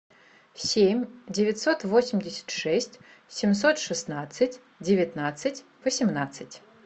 семь девятьсот восемьдесят шесть семьсот шестнадцать девятнадцать восемнадцать